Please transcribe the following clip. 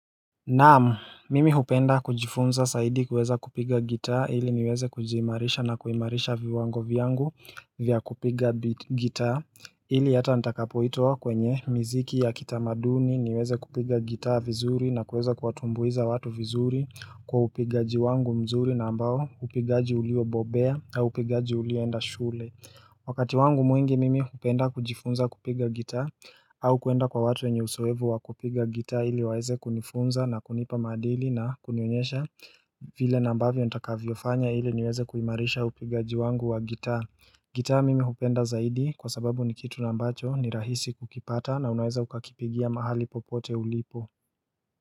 Naam, mimi hupenda kujifunza zaidi kuweza kupiga gitaa ili niweze kujiimarisha na kuimarisha viwango vyangu vya kupiga gitaa ili hata nitakapoitwa kwenye miziki ya kitamaduni niweze kupiga gitaa vizuri na kuweza kuwatumbuiza watu vizuri kwa upigaji wangu mzuri na ambao upigaji ulio bobea na upigaji ulioenda shule Wakati wangu mwingi mimi hupenda kujifunza kupiga gitaa au kuenda kwa watu wenye uzoefu wa kupiga gitaa ili waweze kunifunza na kunipa maadili na kunionyesha vile na ambavyo nitakavyo fanya ili niweze kuimarisha upigaji wangu wa gitaa gitaa mimi hupenda zaidi kwa sababu ni kitu na ambacho ni rahisi kukipata na unaweza ukakipigia mahali popote ulipo.